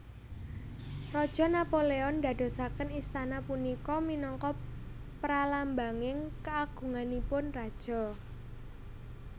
Raja Napoleon ndadosaken istana punika minangka pralambanging kaagunganipun raja